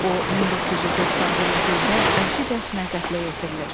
O 1991-ci ildə vəhşicəsinə qətlə yetirilir.